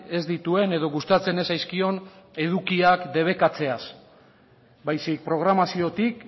ez dituen edo gustatzen ez zaizkion edukiak debekatzeaz baizik programaziotik